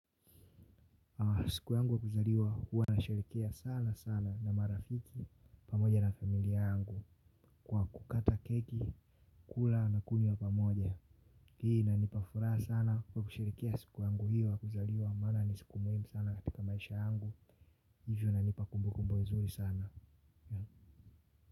Siku yangu wa kuzaliwa huwa nasherekea sana sana na marafiki pamoja na familia yangu kwa kukata keki, kula na kunywa pamoja. Hii inanipa furaha sana huwa kusherekea siku yangu hiyo ya kuzaliwa mana ni siku muhimu sana katika maisha yangu. Hivyo inanipa kumbukumbwe nzuri sana.